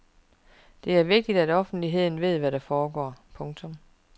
Det er vigtigt at offentligheden ved hvad der foregår. punktum